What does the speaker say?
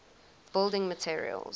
building materials